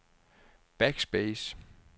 backspace